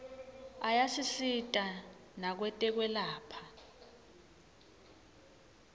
ayasisita nakwetekwelapha